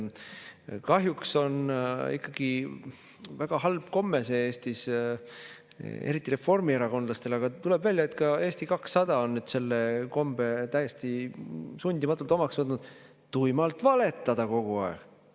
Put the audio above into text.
Kahjuks on ikkagi väga halb komme Eestis, eriti reformierakondlastel, aga tuleb välja, et ka Eesti 200 on selle kombe täiesti sundimatult omaks võtnud, tuimalt valetada kogu aeg.